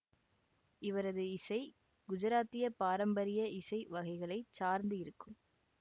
இவரது இசை குஜராத்திய பாரம்பரிய இசை வகைகளை சார்ந்து இருக்கும்